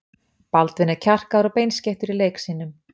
Baldvin er kjarkaður og beinskeyttur í leik sínum.